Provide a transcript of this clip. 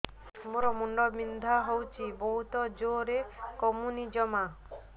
ମୋର ମୁଣ୍ଡ ବିନ୍ଧା ହଉଛି ବହୁତ ଜୋରରେ କମୁନି ଜମା